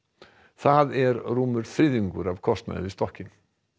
það er rúmur þriðjungur af kostnaði við stokkinn